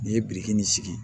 N'i ye biriki nin sigi